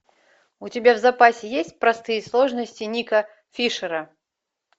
у тебя в запасе есть простые сложности нико фишера